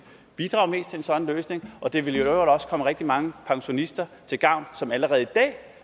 bidrage mest til en sådan løsning og det ville i øvrigt også komme rigtig mange pensionister til gavn som allerede i dag